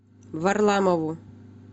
варламову